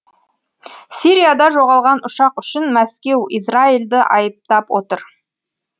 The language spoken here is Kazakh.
сирияда жоғалған ұшақ үшін мәскеу израильді айыптап отыр